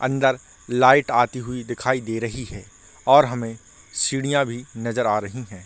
अंदर लाइट आई हुई दिखाई दे रही है और हमें चिड़िया भी नज़र आ रही है।